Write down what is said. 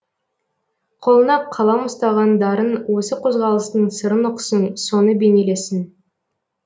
қолына қалам ұстаған дарын осы қозғалыстың сырын ұқсын соны бейнелесін